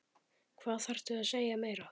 Hvað þarftu að segja meira?